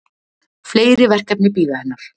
Fleiri verkefni bíða hennar.